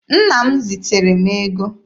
Nna m ziteere m ego.